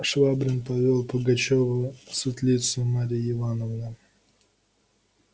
швабрин повёл пугачёва в светлицу марьи ивановны